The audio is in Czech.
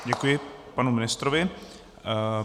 Děkuji panu ministrovi.